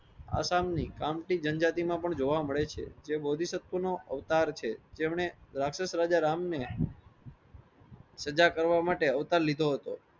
આ સમની કામ ની જનજાતિ માં પણ જોવા મળે છે. જે બૌદ્ધિ શક્તિઓ નો અવતાર છે. જેમને રાક્ષશ રાજા રામ ને સજા કરવા માટે અવતાર લીધો હતો.